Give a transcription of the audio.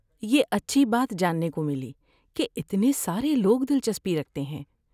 یہ اچھی بات جاننے کو ملی کہ اتنے سارے لوگ دلچسپی رکھتے ہیں۔